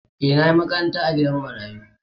E, na yi makaranta a gidan marayu.